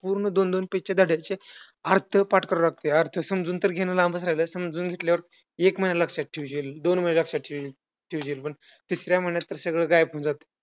पूर्ण दोन दोन page चे धड्यांचे अर्थ पाठ करायला लागतंय. अर्थ समजून घेणं तर लांबचं राहिलं, समजून घेतल्यावर एक महिना लक्षात ठेवशील, दोन महिने लक्षात ठेव ठेवशील, तिसऱ्या महिन्यात तर सगळं गायब होऊन जातंय.